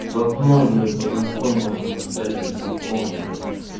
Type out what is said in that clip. с одной блять познакомился на сайте знакомств блять